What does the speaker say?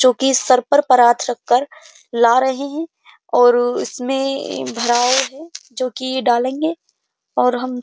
जोकि सर पर परात रखकर ला रहे हैं और उसमें जो की डालेंगे और हम --